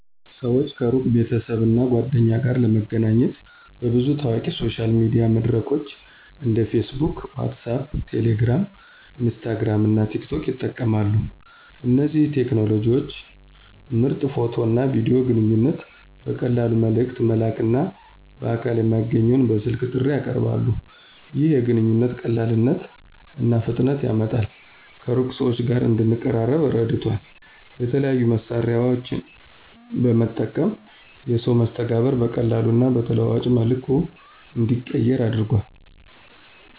ሰዎች ከሩቅ ቤተሰብ እና ጓደኞች ጋር ለመገናኘት በብዙ ታዋቂ ሶሻል ሚዲያ መድረኮች እንደ Facebook WhatsApp Telegram, Instagram እና TikTok ይጠቀማሉ። እነዚህ ቴክኖሎጂዎች ምርጥ ፎቶ እና ቪዲዮ ግንኙነት ቨቀላሉ መልእክት መላክና በአካል የማይገኘውን በስልክ ጥሪ ያቀርባሉ። ይህ የግንኙነት ቀላልነት እና ፍጥነትን ያመጣል ከሩቅ ሰዎች ጋር እንደንቀራረበ ረድቷል። የተለያዩ መሳሪያዎን በመጠቀም የሰዎች መስተጋብር በቀላሉ እና በተለዋዋጭ መልኩ እንዲቀየር አድርጓል።